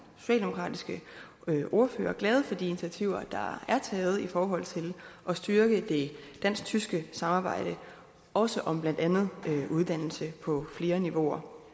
socialdemokratiske ordfører glade for de initiativer der er taget i forhold til at styrke det dansk tyske samarbejde også om blandt andet uddannelse på flere niveauer